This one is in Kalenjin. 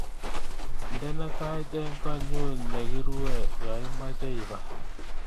Indene tait eng koonyu negirue yoimache ibar